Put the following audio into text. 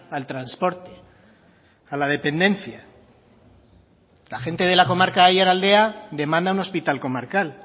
al transporte a la dependencia la gente de la comarca de aiaraldea demanda un hospital comarcal